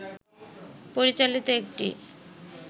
পরিচালিত একটি